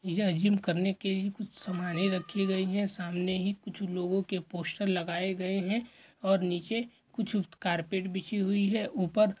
यह जिम करने की कुछ समाने रखी गई हैं सामने ही कुछ लोगो के पोस्टर लगाए गए हैं और नीचे कुछ कारपेट बिछी हुई हैं ऊपर--